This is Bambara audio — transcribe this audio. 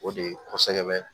O de ye kosɛbɛ